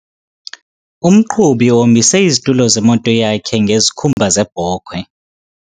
Umqhubi uhombise izitulo zemoto yakhe ngezikhumba zebhokhwe.